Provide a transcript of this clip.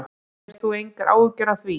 Hefur þú engar áhyggjur af því?